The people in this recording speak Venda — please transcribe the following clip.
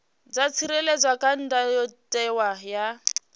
dza tsireledzwa kha ndayotewa ya